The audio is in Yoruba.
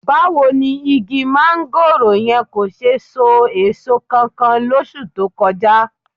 Báwo ni igi máńgòrò yẹn kò ṣe so èso kankan lóṣù tó kọjá?